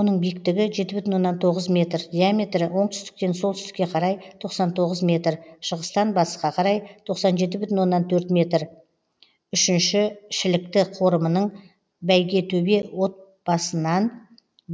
оның биіктігі жеті бүтін оннан тоғыз метр диаметрі оңтүстіктен солтүстікке қарай тоқсан тоғыз метр шығыстан батысқа қарай тоқсан жеті бүтін оннан төрт метр үшінші шілікті қорымының бәйгетөбе отбасынан